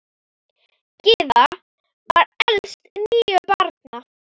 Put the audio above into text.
Gyða var elst níu barna.